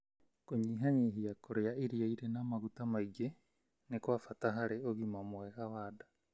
Kũnyihanyihia kũrĩa irio irĩ na maguta maingĩ nĩ kwa bata harĩ ũgima mwega wa nda.